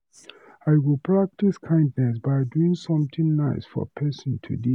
I go practice kindness by doing something nice for person today.